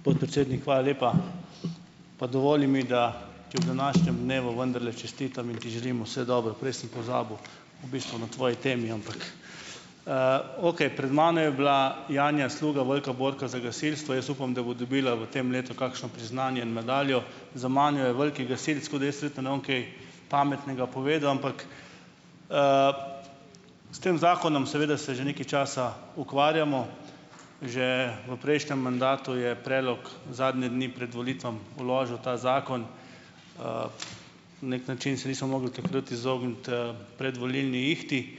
Podpredsednik, hvala lepa. Pa dovoli mi, da ti ob današnjem dnevu vendarle čestitam in ti želim vse dobro. Prej sem pozabil, v bistvu na tvoji temi, ampak, okej. Pred mano je bila Janja Sluga, velika borka za gasilstvo. Jaz upam, da bo dobila v tem letu kakšno priznanje in medaljo. Za mano je veliki gasilec, tako da jaz verjetno ne bom kaj pametnega povedal, ampak, s tem zakonom seveda se že nekaj časa ukvarjamo, že v prejšnjem mandatu je predlog zadnje dni pred volitvami vložil ta zakon. Na neki način se nismo mogli takrat izogniti, predvolilni ihti.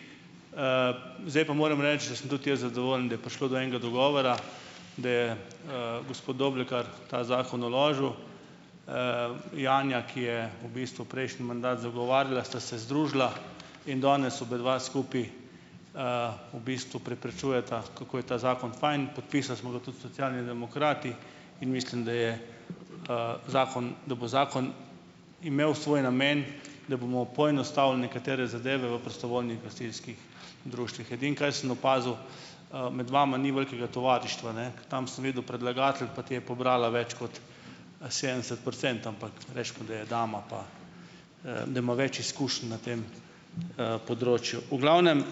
Zdaj pa moram reči, da sem tudi jaz zadovoljen, da je prišlo do enega dogovora, da je, gospod Doblekar ta zakon vložil. Janja, ki je v bistvu prejšnji mandat zagovarjala, sta se združila in danes obadva skupaj, v bistvu prepričujeta, kako je ta zakon fajn, podpisali smo ga tudi Socialni demokrati in mislim, da je, zakon, da bo zakon imel svoj namen, da bomo poenostavili nekatere zadeve v prostovoljnih gasilskih društvih. Edino, kaj sem opazil, med vama ni velikega tovarištva, ne. Tam sem videl predlagatelj, pa ti je pobrala več kot sedemdeset procentov, ampak recimo, da je doma, pa, da ima več izkušenj na tem, področju. V glavnem,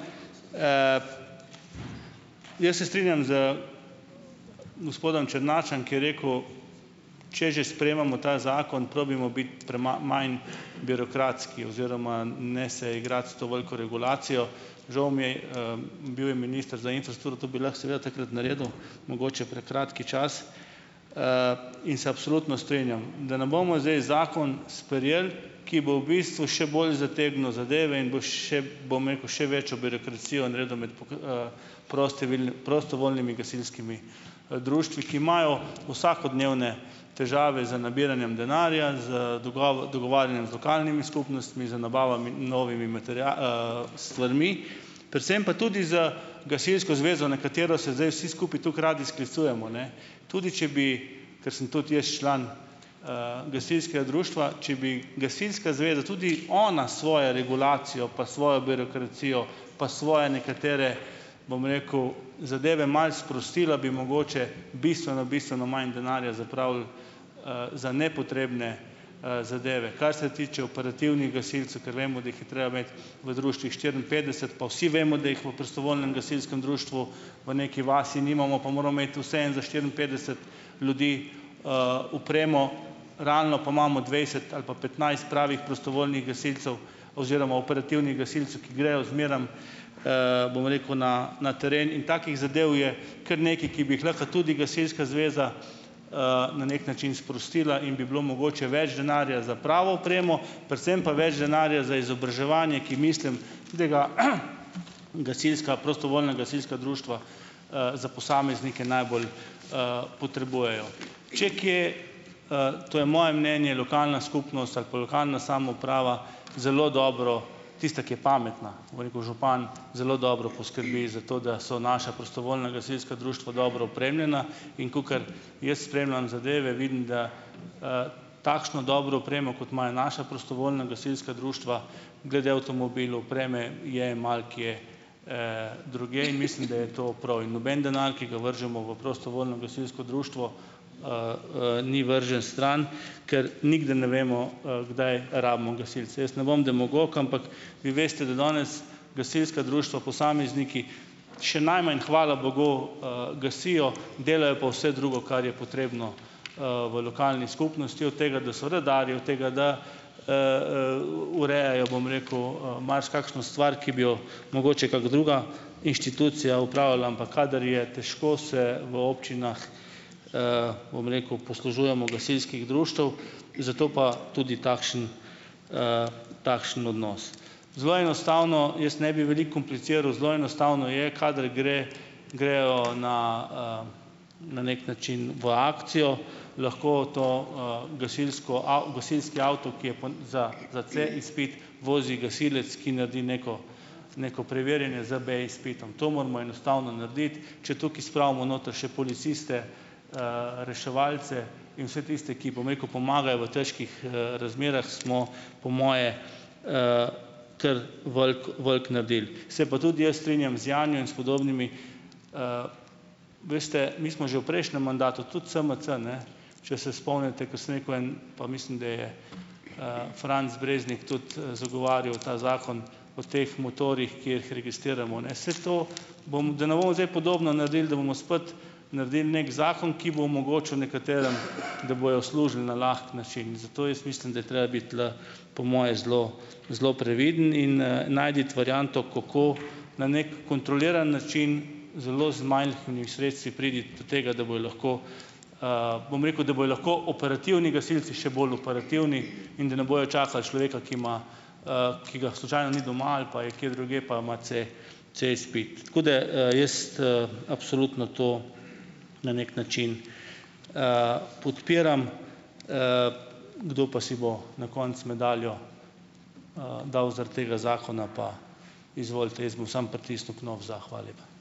jaz se strinjam z gospodom Černačem, ki je rekel, če že sprejemamo ta zakon, probajmo biti manj birokratski oziroma ne se igrati s to veliko regulacijo. Žal mi je, bil je minister za infrastrukturo, to bi lahko seveda takrat naredil, mogoče prekratek čas. In se absolutno strinjam. Da ne bomo zdaj zakon sprejeli, ki bo v bistvu še bolj zategnil zadeve in bo, še bom rekel, še večjo birokracijo naredil med, prostovoljnimi gasilskimi, društvi, ki imajo vsakodnevne težave z nabiranjem denarja, z dogovarjanjem z lokalnimi skupnostmi, z nabavami novimi stvarmi, predvsem pa tudi z gasilsko zvezo, na katero se zdaj vsi skupaj tako radi sklicujemo, ne. Tudi če bi, ker sem tudi jaz član, gasilskega društva, če bi gasilska zveza tudi ona svoje regulacijo pa svojo birokracijo pa svoje nekatere, bom rekel, zadeve malo sprostila, bi mogoče bistveno bistveno manj denarja zapravili, za nepotrebne, zadeve, kar se tiče operativnih gasilcev, ker vemo, da jih je treba imeti v društvih štiriinpetdeset, pa vsi vemo, da jih v prostovoljnem gasilskem društvu v neki vasi nimamo, pa moramo imeti vseeno za štiriinpetdeset ljudi, opremo, realno pa imamo dvajset ali pa petnajst pravih prostovoljnih gasilcev oziroma operativnih gasilcev, ki grejo zmeraj, bom rekel, na na teren in takih zadev je kar nekaj, ki bi jih lahko tudi gasilska zveza, na neki način sprostila in bi bilo mogoče več denarja za pravo opremo, predvsem pa več denarja za izobraževanje, ki mislim, da ga, gasilska prostovoljna gasilska društva, za posameznike najbolj, potrebujejo. Če kje, to je moje mnenje, lokalna skupnost ali pa lokalna samouprava zelo dobro, tista, ki je pametna, bom rekel, župan zelo dobro poskrbi za to, da so naša prostovoljna gasilska društva dobro opremljena, in kakor jaz spremljam zadeve, vidim, da, takšno dobro opremo, kot imajo naša prostovoljna gasilska društva, glede avtomobilov, opreme, je malokje, drugje in mislim, da je to prav, in noben denar, ki ga vržemo v prostovoljno gasilsko društvo, ni vržen stran, ker nikdar ne vemo, kdaj rabimo gasilci. Jaz ne bom demagog, ampak vi veste, da danes gasilska društva, posamezniki, še najmanj, hvala bogu, gasijo, delajo pa vse drugo, kar je potrebno, v lokalni skupnosti, od tega, da so redarji, od tega, da, urejajo, bom rekel, marsikakšno stvar, ki bi jo mogoče kaka druga inštitucija opravlja, ampak kadar je težko, se v občinah, bom rekel, poslužujemo gasilskih društev, zato pa tudi takšen, takšen odnos. Zelo enostavno, jaz ne bi veliko kompliciral, zelo enostavno je, kadar gre, grejo na, na neki način v akcijo, lahko to, gasilko gasilski avto, ki je pa za C-izpit, vozi gasilec, ki naredi neko neko preverjanje z B-izpitom. To moramo enostavno narediti. Če tukaj spravimo noter še policiste, reševalce in vse tiste, ki, bom rekel, pomagajo v težkih, razmerah smo, po moje, kar veliko veliko naredili. Se pa tudi jaz strinjam z Janijem in s podobnimi, veste, mi smo že v prejšnjem mandatu, tudi SMC, če se spomnite, ko sem rekel, en, pa mislim, da je Franc Breznik tudi zagovarjal ta zakon o teh motorjih, ki jih registriramo, ne, saj to, bom da ne bomo zdaj podobno naredili, da bomo spet naredili neki zakon, ki bo omogočil nekaterim, da bojo služili na lahek način. In zato jaz mislim, da je treba biti tule po moje zelo zelo previden in najti varianto, kako na neki kontroliran način zelo z majhnimi sredstvi priti do tega, da bojo lahko, bom rekel, da bojo lahko operativni gasilci še bolj operativni, in da ne bojo čakali človeka, ki ima, ki ga slučajno ni doma ali pa je kje drugje, pa ima C-, C-izpit. Tako da, jaz, absolutno to na neki način, podpiram, kdo pa si bo na koncu medaljo, dal zaradi tega zakona, pa izvolite, jaz bom samo pritisnil knof za. Hvala lepa.